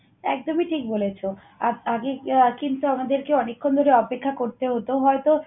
একদমই ঠিক বলেছ। আর আগে কিন্তু আমাদেরকে অনেকক্ষণ ধরে অপেক্ষা করতে হতো। হয়তো